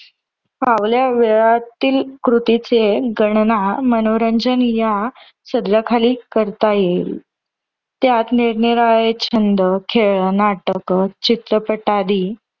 फावल्या वेळातील कृतीचे गणना मनोरंजन या सदराखाली करता येईल. त्यात निरनिराळे छंद, खेळ, नाटक, चित्रपट आदी